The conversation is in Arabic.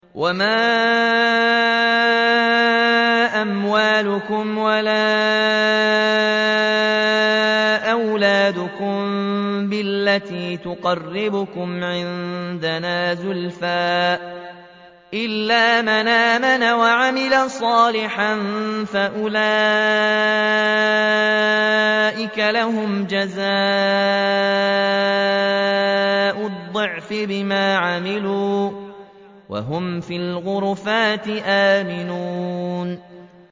وَمَا أَمْوَالُكُمْ وَلَا أَوْلَادُكُم بِالَّتِي تُقَرِّبُكُمْ عِندَنَا زُلْفَىٰ إِلَّا مَنْ آمَنَ وَعَمِلَ صَالِحًا فَأُولَٰئِكَ لَهُمْ جَزَاءُ الضِّعْفِ بِمَا عَمِلُوا وَهُمْ فِي الْغُرُفَاتِ آمِنُونَ